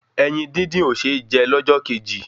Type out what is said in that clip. Ẹyin dín dín ò ṣé jẹ lọ́jọ́ kejì